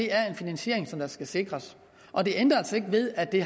er en finansiering der skal sikres og det ændrer altså ikke ved at det